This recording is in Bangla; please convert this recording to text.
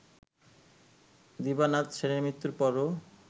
দিবানাথ সেনের মৃত্যুর পরও